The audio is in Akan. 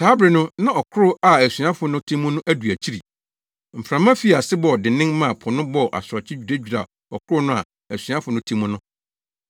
Saa bere no na ɔkorow a asuafo no te mu no adu akyiri. Mframa fii ase bɔɔ dennen maa po no bɔɔ asorɔkye dwiradwiraa ɔkorow no a asuafo no te mu no.